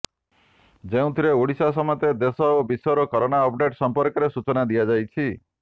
ଯେଉଁଥିରେ ଓଡ଼ିଶା ସମେତ ଦେଶ ଓ ବିଶ୍ୱର କରୋନା ଅପଡେଟ୍ ସମ୍ପର୍କରେ ସୂଚନା ଦିଆଯାଇଛି